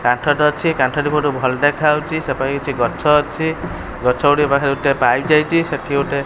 କାଠ ଟେ ଅଛି କାଠ ଟି ବହୁତ ଭଲ ଦେଖା ହଉଚି ସେ ପାଖେ କିଛି ଗଛ ଅଛି ଗଛ ଗୁଡିଏ ପାଖରେ ଗୋଟେ ଯାଇଚି ସେଠି ଗୋଟେ।